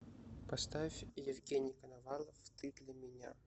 поставь евгений коновалов ты для меня